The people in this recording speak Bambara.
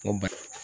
Ko bali